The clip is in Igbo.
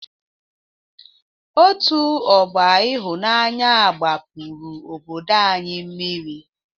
Òtù ọgbọ Ịhụnanya gbapụrụ obodo anyị mmiri.